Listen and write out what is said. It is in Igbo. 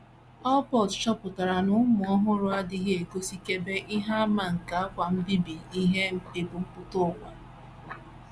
Allport, chọpụtara na ụmụ ọhụrụ “ adịghị egosikebe... ihe àmà nke àgwà mbibi ihe ebumpụta ụwa.....